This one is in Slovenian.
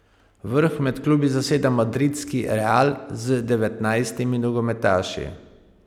Vrh med klubi zaseda madridski Real z devetnajstimi nogometaši.